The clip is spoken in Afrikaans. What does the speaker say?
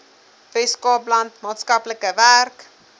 weskaapland maatskaplike werk